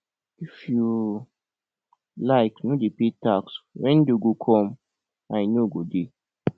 if you like no dey pay tax when dey go come i no go dey